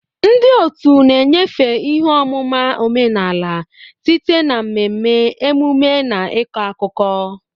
Ndị otu na-enyefe ihe ọmụma omenala site na mmemme, emume na ịkọ akụkọ.